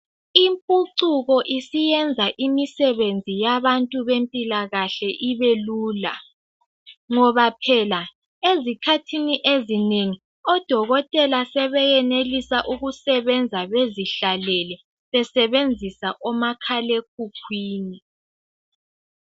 Impucuko isiyenza imisebenzi yabantu bempila kahle ibe lula ngoba phela ezikhathini ezinengi odokotela sebeyenelisa ukusebenza bezihlalele besebenzisa omakhala ekhukwini